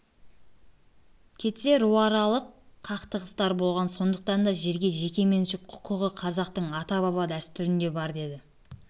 кетсе руаралық қақтығыстар болған сондықтан да жерге жеке меншік құқығы қазақтың ата-баба дәстүрінде бар деді